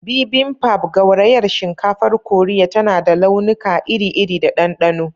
Bibimbap, gaurayar shinkafar Koriya, tana da launuka iri-iri da ɗanɗano.